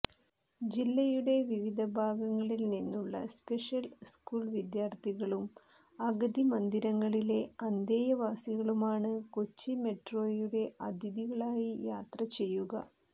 ജില്ലയുടെ വിവിധ ഭാഗങ്ങളിൽ നിന്നുള്ള സ്പെഷ്യൽ സ്കൂൾ വിദ്യാർത്ഥികളും അഗതി മന്ദിരങ്ങളിലെ അന്തേവാസികളുമാണ് കൊച്ചി മെട്രോയുടെ അതിഥികളായി യാത്ര ചെയ്യുക